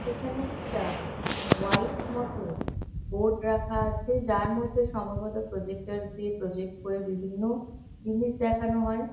এখানে একটা হোয়াইট মতো বোর্ড রাখা আছে যার মধ্যে সম্ভবত প্রজেক্টর্স দিয়ে প্রজেক্ট করে বিভিন্ন জিনিস দেখানো হয়।